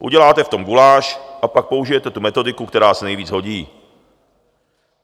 Uděláte v tom guláš a pak použijete tu metodiku, která se nejvíc hodí.